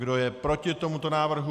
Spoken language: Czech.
Kdo je proti tomuto návrhu?